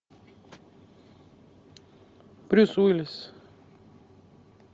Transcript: брюс уиллис